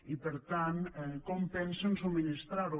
i per tant com pensem subministrar la hi